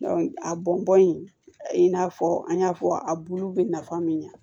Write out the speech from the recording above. a bɔn bɔn in n'a fɔ an y'a fɔ a bulu bɛ nafa min ɲɛ